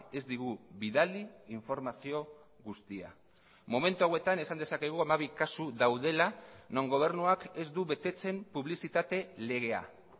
ez digu bidali informazio guztia momentu hauetan esan dezakegu hamabi kasu daudela non gobernuak ez du betetzen publizitate legea